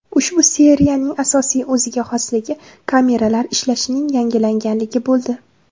Ushbu seriyaning asosiy o‘ziga xosligi kameralar ishlashining yangilanganligi bo‘ldi.